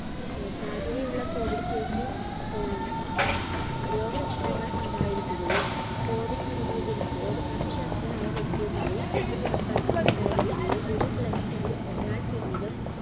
ഏർ സാധ്യത ഉള്ള COVIDcase ഏർ രോഗലക്ഷണങ്ങൾ ഉണ്ടായിരിക്കുകയും COVID സ്ഥിരീകരിച്ചതോ സംശയാസ്പദമായ വ്യക്തിയുമായി സമ്പർക്കമുണ്ടായിരിക്കുകയോ ഒരു cluster ൽ ഒരാൾക്കെങ്കിലും